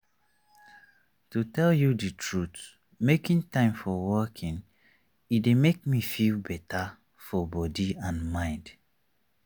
to tell you the truth making time for walking e don make me feel better for body and mind.